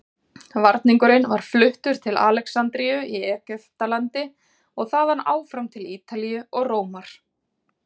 Varningurinn var fluttur til Alexandríu í Egyptalandi og þaðan áfram til Ítalíu og Rómar.